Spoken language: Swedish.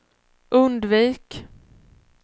undvik